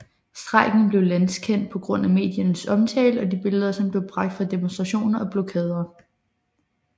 Strejken blev landskendt på grund af mediernes omtale og de billeder som blev bragt fra demonstrationer og blokader